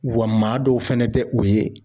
Wa maa dɔw fɛnɛ bɛ o ye